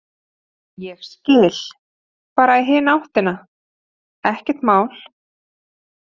Ég skil, bara í hina áttina, ekkert mál.